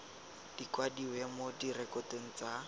di kwadiwe mo direkotong tsa